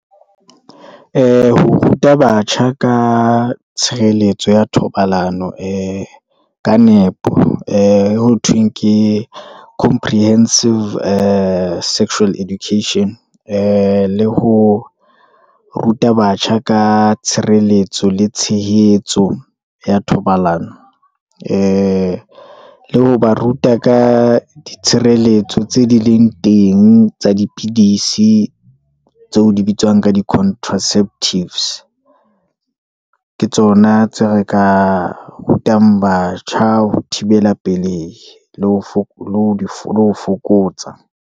Ho ruta batjha ka tshireletso ya thobalano, ee ka nepo, ee e ho thweng ke comprehensive ee sexual education, ee le ho ruta batjha ka tshireletso le tshehetso ya thobalano, ee le le ho ba ruta ka ditshireletso tse di leng teng tsa dipidisi, tseo di bitswang ka di contraceptives, ke tsona tseo re ka rutang batjha ho thibela pelehi, le ho fokotsa.